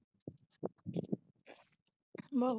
ਬਹੁ